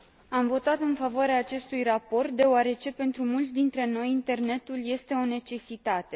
Am votat în favoarea acestui raport deoarece pentru mulți dintre noi internetul este o necesitate.